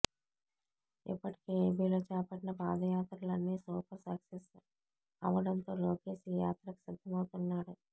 ఇప్పటికే ఏపీలో చేపట్టిన పాదయాత్రలన్ని సూపర్ సక్సెస్ అవ్వడంతో లోకేష్ ఈ యాత్రకు సిద్ధం అవుతున్నాడు